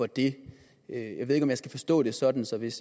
det jeg ved ikke om jeg skal forstå det sådan så hvis